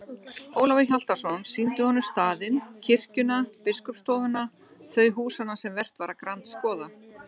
Ólafur Hjaltason sýndi honum staðinn, kirkjuna, biskupsstofuna, þau húsanna sem vert var að grandskoða.